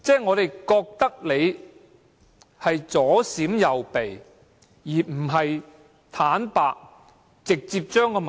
我們覺得他們在左閃右避，而不是坦白地直接說出問題。